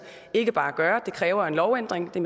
ikke bare gøre men at det kræver en lovændring det